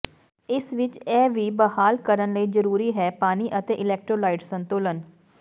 ਇਸ ਵਿਚ ਇਹ ਵੀ ਬਹਾਲ ਕਰਨ ਲਈ ਜ਼ਰੂਰੀ ਹੈ ਪਾਣੀ ਅਤੇ ਅਲੈਕਟਰੋਲਾਈਟ ਸੰਤੁਲਨ